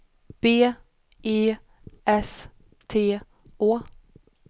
B E S T Å